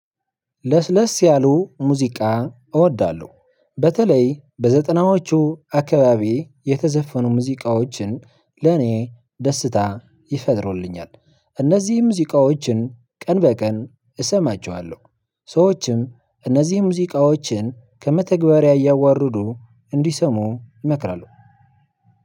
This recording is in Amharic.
ለስለስ ያሉ ሙዚቃ እወዳለሁ በተለይ በዘጠናዎቹ አካባቢ የተዘፈኑ ሙዚቃዎችን ለኔ ደስታ ይፈጥሩልኛል። እነዚህ ሙዚቃዎችን ቀን በቀን እሰማቸዋለሁ ሰዎችም እነዚህ ሙዚቃዎችን ከመተግበሪያ እያወረዱ እንዲሰሙ ይመክራሁ